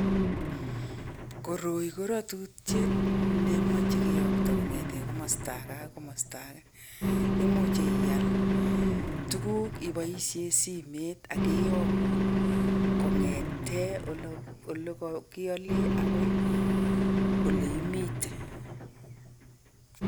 Koroi ko ratutiet nemache keyokto kong'ete komosto age agoi age. Imuchi iaal tuguk iboisie simet ak kiyokun kong'ete ole kakiale agoi ole imitei.